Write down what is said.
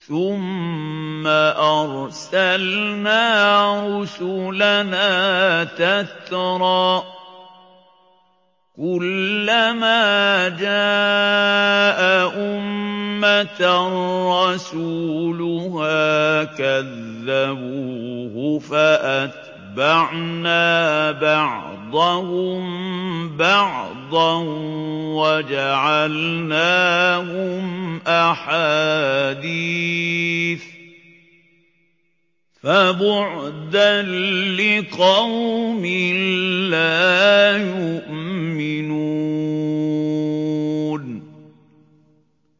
ثُمَّ أَرْسَلْنَا رُسُلَنَا تَتْرَىٰ ۖ كُلَّ مَا جَاءَ أُمَّةً رَّسُولُهَا كَذَّبُوهُ ۚ فَأَتْبَعْنَا بَعْضَهُم بَعْضًا وَجَعَلْنَاهُمْ أَحَادِيثَ ۚ فَبُعْدًا لِّقَوْمٍ لَّا يُؤْمِنُونَ